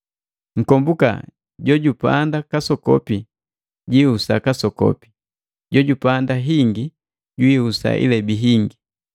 Nkombuka, jojupanda kasokopi jiihusa kasokopi, jojupanda hingi jihusa ilebi hingi.